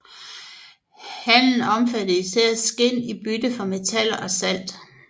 Handelen omfattede især skind i bytte mod metaller og salt